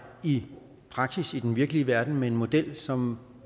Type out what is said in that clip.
i praksis i den virkelige verden med en model som